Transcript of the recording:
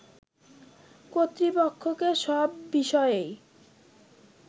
কর্তৃপক্ষকে সব বিষয়েই